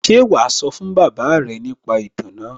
Ṣé wàá sọ fún bàbá rẹ̀ nípa ìtàn náà?